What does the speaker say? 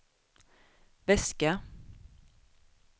väska